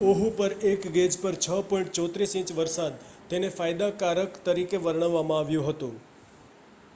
"Oahu પર એક gauge પર 6.34 ઇંચ વરસાદ તેને "ફાયદાકારક" તરીકે વર્ણવવામાં આવ્યું હતું.